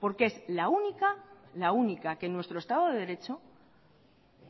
porque es la única la única que en nuestro estado de derecho